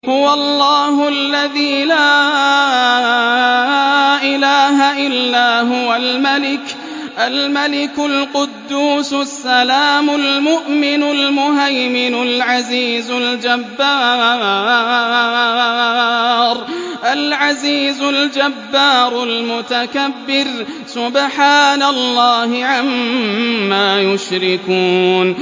هُوَ اللَّهُ الَّذِي لَا إِلَٰهَ إِلَّا هُوَ الْمَلِكُ الْقُدُّوسُ السَّلَامُ الْمُؤْمِنُ الْمُهَيْمِنُ الْعَزِيزُ الْجَبَّارُ الْمُتَكَبِّرُ ۚ سُبْحَانَ اللَّهِ عَمَّا يُشْرِكُونَ